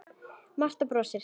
Marta brosir.